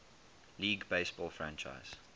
league baseball franchise